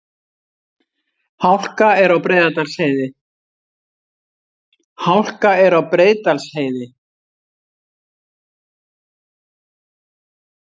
Hálka er á Breiðdalsheiði